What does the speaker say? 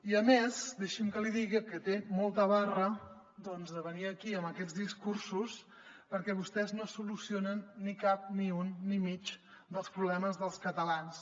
i a més deixi’m que li digui que té molta barra doncs de venir aquí amb aquests discursos perquè vostès no solucionen cap ni un ni mig dels problemes dels catalans